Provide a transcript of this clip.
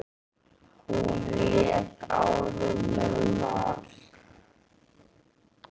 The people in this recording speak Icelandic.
Hún lék áður með Val.